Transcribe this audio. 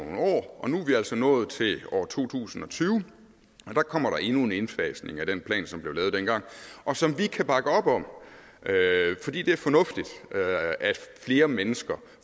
og nu er vi altså nået til år to tusind og tyve og der kommer der endnu en indfasning af den plan som blev lavet dengang og som vi kan bakke op om fordi det er fornuftigt at flere mennesker